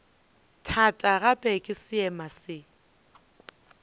thata gape ke seema se